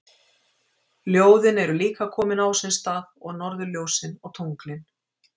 Ljóðin eru líka komin á sinn stað og norðurljósin og tunglin.